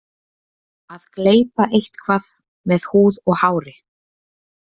Að gleypa eitthvað með húð og hári